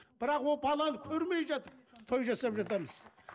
бірақ ол баланы көрмей жатып той жасап жатамыз